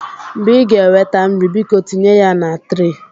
Mgbe ị ga-eweta nri, biko tinye ya na tre.